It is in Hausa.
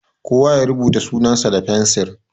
Kowa ya rubuta sunan sa da fensiri!